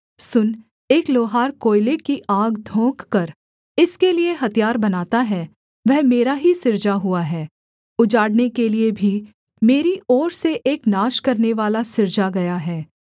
सुन एक लोहार कोएले की आग धोंककर इसके लिये हथियार बनाता है वह मेरा ही सृजा हुआ है उजाड़ने के लिये भी मेरी ओर से एक नाश करनेवाला सृजा गया है